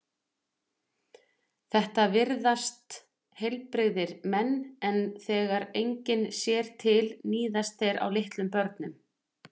Þetta virðast heilbrigðir menn en þegar enginn sér til níðast þeir á litlum börnum.